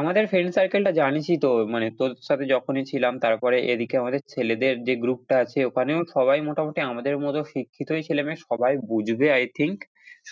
আমাদের friend circle টা জানিসই তো মানে তোদের সাথে যখনই ছিলাম তারপর এদিকে আমাদের ছেলেদের যে group টা আছে ওখানেও সবাই মোটামুটি আমাদের মতো শিক্ষিতই ছেলে-মেয়ে সবাই বুঝবে i think